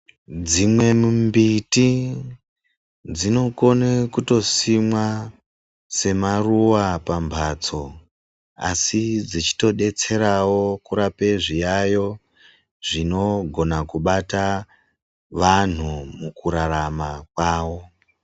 Dzimwe mimbiti dzinokone kutosimwa semaruva pambatso asi dzechitodetserawo kurapa zviyaiyo zvinogona kubata vantu mukurarama kwavo.